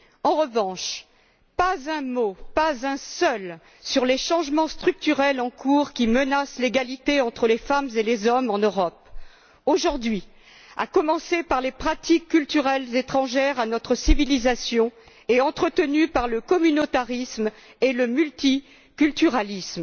En revanche, pas un mot, pas un seul, sur les changements structurels en cours qui menacent l'égalité entre les femmes et les hommes en Europe aujourd'hui, à commencer par les pratiques culturelles étrangères à notre civilisation et entretenues par le communautarisme et le multiculturalisme.